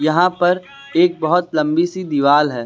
यहां पर एक बहुत लम्बी सी दिवाल है।